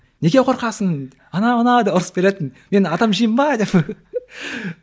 неге қорқасың анау мынау деп ұрсып беретін мен адам жеймін бе деп